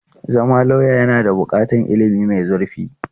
Zama lauya yana buƙatar ilimi mai zurfi.